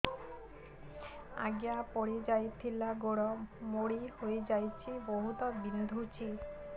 ଆଜ୍ଞା ପଡିଯାଇଥିଲି ଗୋଡ଼ ମୋଡ଼ି ହାଇଯାଇଛି ବହୁତ ବିନ୍ଧୁଛି